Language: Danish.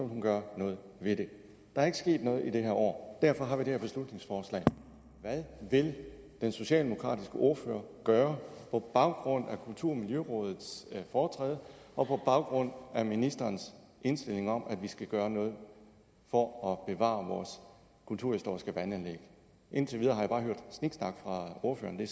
hun gøre noget ved det der er ikke sket noget i det her år og derfor har vi fremsat det her beslutningsforslag hvad vil den socialdemokratiske ordfører gøre på baggrund af kulturmiljørådets foretræde og på baggrund af ministerens indstilling om at vi skal gøre noget for at bevare vores kulturhistoriske vandanlæg indtil videre har jeg bare hørt sniksnak fra ordføreren